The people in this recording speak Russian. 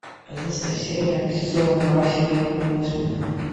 одиннадцатая серия сезона два сериала половое воспитание